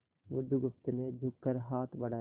बुधगुप्त ने झुककर हाथ बढ़ाया